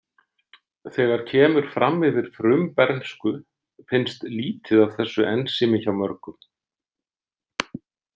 Þegar kemur fram yfir frumbernsku finnst lítið af þessu ensími hjá mörgum.